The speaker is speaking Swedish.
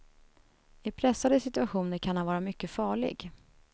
I pressade situationer kan han vara mycket farlig.